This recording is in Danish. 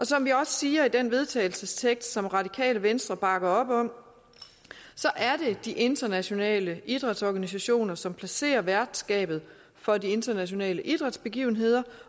som vi også siger i den vedtagelsestekst som radikale venstre bakker op om så er det de internationale idrætsorganisationer som placerer værtskabet for de internationale idrætsbegivenheder